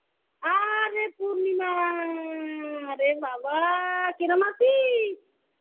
আরে, পূর্নিমা আরে বাবা, কিরম আছিস?